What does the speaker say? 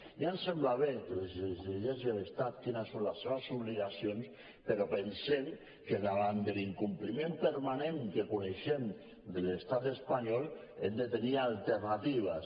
ja ens sembla bé que s’exigeixi a l’estat quines són les seves obligacions però pensem que davant l’incompliment permanent que coneixem de l’estat espanyol hem de tenir alternatives